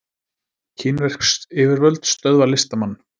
Kínversk yfirvöld stöðva listamann